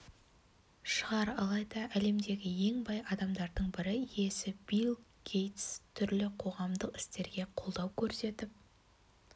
шығар алайда әлемдегі ең бай адамдардың бірі иесі билл гейтс түрлі қоғамдық істерге қолдау көрсетіп